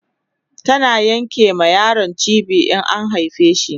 tana Yanke ma yaro cibi in an haife shi